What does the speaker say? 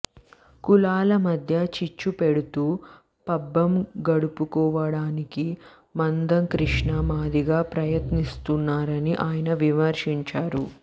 కులాల మధ్య చిచ్చుపెడుతూ పబ్బం గడుపుకోవడానికి మందకృష్ణ మాదిగ ప్రయత్నిస్తున్నారని ఆయన విమర్శించారు